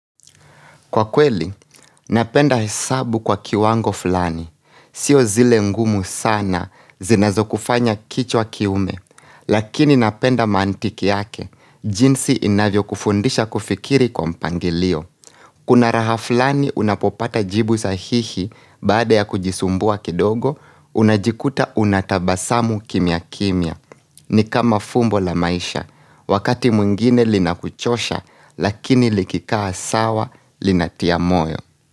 Kwa kweli, napenda hesabu kwa kiwango fulani. Sio zile ngumu sana, zinazo kufanya kichwa kiume, lakini napenda mantiki yake, jinsi inavyo kufundisha kufikiri kwa mpangilio. Kuna raha fulani unapopata jibu sahihi baada ya kujisumbua kidogo, unajikuta unatabasamu kimya kimya. Ni kama fumbo la maisha. Wakati mwingine linakuchosha lakini likikaa sawa linatia moyo.